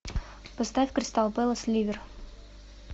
поставь кристал пэлас ливер